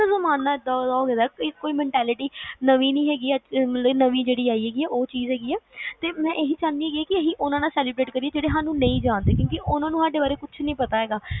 ਕਿ ਜ਼ਮਾਨਾ ਏਦਾਂ ਦਾ ਹੋਇਆ ਕਿ ਕੋਈ mentality ਨਵੀ ਨੀ ਹੈਗੀ ਕੇ ਮੈਂ ਇਹ ਚਾਹੁਣੀ ਆ ਕਿ ਉਹਨਾਂ ਨਾਲ celebrate ਕਰੀਏ ਜਿਹੜੇ ਸਾਨੂ ਨਹੀਂ ਜਾਂਦੇ